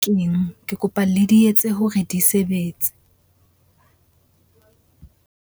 Ke , ke kopa le di etse hore di sebetse.